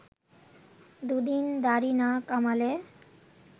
দুদিন দাড়ি না কামালে